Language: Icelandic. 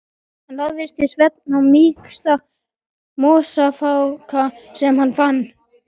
Hann lagðist til svefns á mýksta mosafláka sem hann fann.